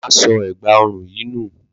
Ma so ẹgba orun yìí nu